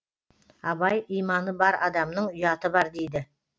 абай иманы бар адамның ұяты бар дейді